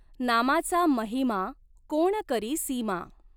नामाचा महिमा कॊण करी सीमा.